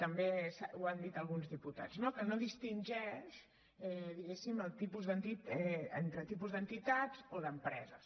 també ho han dit alguns diputats no que no distingeix diguemne entre tipus d’entitats o d’empreses